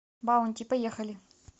баунти поехали